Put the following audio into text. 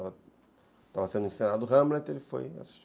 Estava, estava sendo encenado Hamlet, ele foi assistir.